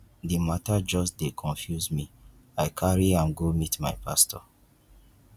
di mata just dey confuse me i carry am go meet my pastor